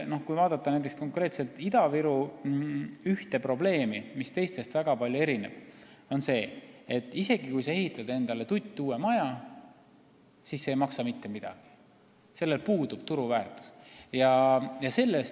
Kui vaadata konkreetselt Ida-Viru ühte probleemi, mis teistest väga palju erineb, siis see on see, et isegi kui sa ehitad endale sinna tuttuue maja, siis see ei maksa mitte midagi – sellel puudub turuväärtus.